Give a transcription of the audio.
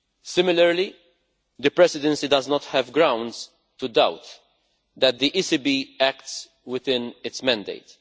Similarly the Presidency does not have grounds to doubt that the ECB acts within its mandate.